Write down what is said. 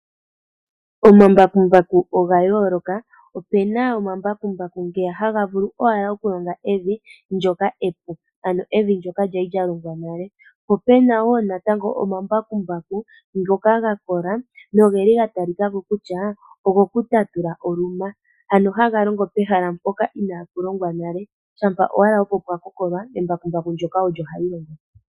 Omambakumbaku oga yooloka ope na omambakumbaku ngeya haga vulu owala okulonga evi ndyoka epu, ano evi ndyoka lya li lya longa nale, po pena wo natango omambakumbaku ngoka ga kola noge li ga talika ko kutya ogo ku tatula oluna, ano haga longo pehala mpoka inaa pu longwa nale shampa owala opo pwa kokolwa, embakumbaku ndyoka olyo hali longo po.